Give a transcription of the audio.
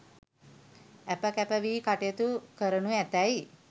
ඇප කැප වී කටයුතු කරණු ඇතැයි